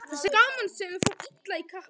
Þessi gamansemi fór illa í kappann.